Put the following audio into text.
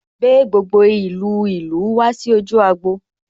Gbé gbogbo ìlú ìlú wá sí ojú agbo'